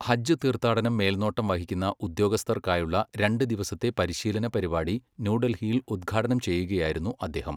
ഹജ്ജ് തീർത്ഥാടനം മേൽനോട്ടം വഹിക്കുന്ന ഉദ്യോഗസ്ഥർക്കായുള്ള രണ്ട് ദിവസത്തെ പരിശീലന പരിപാടി ന്യൂഡൽഹിയിൽ ഉദ്ഘാടനം ചെയ്യുകയായിരുന്നു അദ്ദേഹം.